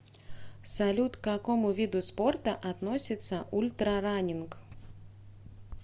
салют к какому виду спорта относится ультрараннинг